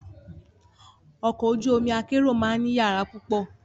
Ọkọ̀ ojú omi akérò máa ní yàrá púpọ̀.